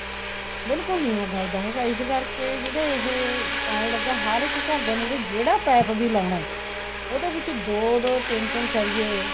ਬਿਲਕੁਲ ਨਹੀਂ ਉਹ ਗਲਦਾ ਹੈਗਾ ਇਸ ਕਰਕੇ ਜਿਹੜੇ ਇਹ ਪਾਉਣ ਲੱਗੇ ਹੈ ਹਰ ਇੱਕ ਘਰ ਦੇ ਮਹੁਰੇ ਜਿਹੜਾ ਪੈਪ ਵੀ ਲਾਉਣਾ ਹੈ ਉਹਦੇ ਵਿੱਚ ਦੋ ਤਿੰਨ ਤਿੰਨ ਸਰੀਏ